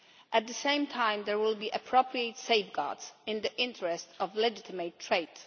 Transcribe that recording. At the same time there will be appropriate safeguards in the interest of legitimate trade.